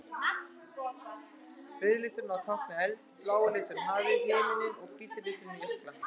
Rauði liturinn á að tákna eld, blái liturinn hafið og himininn og hvíti liturinn jökla.